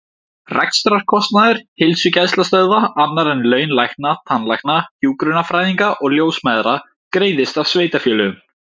Rekstrarkostnaður heilsugæslustöðva, annar en laun lækna, tannlækna, hjúkrunarfræðinga og ljósmæðra, greiðist af sveitarfélögum.